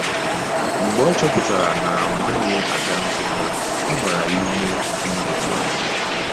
Mgbe ọ chọpụtara na ọ naghị aga nzukọ, ọ gbara ya ume ime otú ahụ.